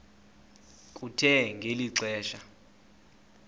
kuthe ngeli xesha